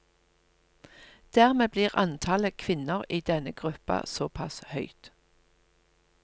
Dermed blir antallet kvinner i denne gruppa såpass høyt.